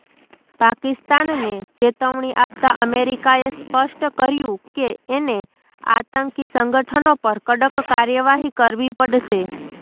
પાકિસ્તાનને ચેતવણી આપતા અમેરિકાએ સ્પષ્ટ કર્યું કે એને આતંકી સંગઠનો પર કડક કાર્યવાહી કરવી પડશે